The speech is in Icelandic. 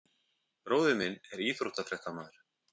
Bróðir minn er íþróttafréttamaður.